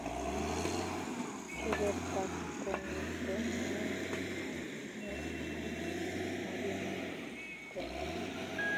Keberta kongetee naet ak meet ko makinae komyee